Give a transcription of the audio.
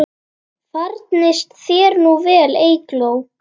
Farnist þér nú vel, Eygló.